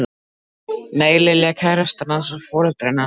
Nei, Lilja kærastan hans og foreldrar hennar.